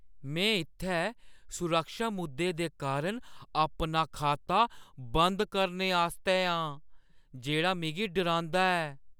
मैं इत्थै सुरक्षा मुद्दें दे कारण अपना खाता बंद करने आस्तै आं जेह्ड़ा मिगी डरांदा ऐ।